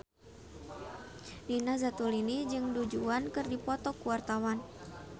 Nina Zatulini jeung Du Juan keur dipoto ku wartawan